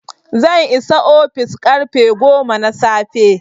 zan isa ofis karfe goma na safe